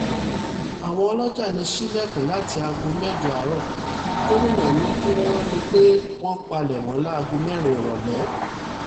àwọn ọlọ́jà lè ṣílẹ̀kùn láti aago mẹ́jọ àárọ̀ gómìnà ni kí wọ́n rí i pé wọ́n palẹ̀mọ́ láago mẹ́rin ìrọ̀lẹ́